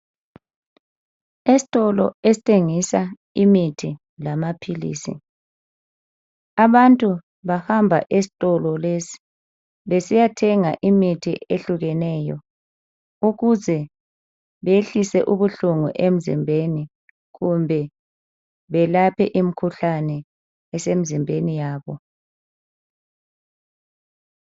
Esitolo esithengisa imithi lamaphilisi abantu bahamba esitolo lesi besiyathenga imithi ehlukeneyo ukuze beyehlise ubuhlungu emzimbeni kumbe belaphe imkhuhlane esemizimbeni yabo